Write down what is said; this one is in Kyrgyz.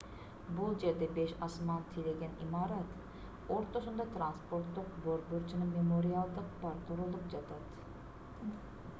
бул жерде беш асман тиреген имарат ортосунда транспорттук борбор жана мемориалдык парк курулуп жатат